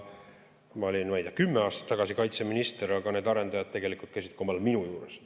Ma olin, ma ei tea, kümme aastat tagasi kaitseminister, aga need arendajad tegelikult käisid omal ajal ka minu juures.